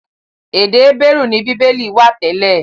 Èdè Hébérù ni Bíbélì wà tẹ́lẹ̀.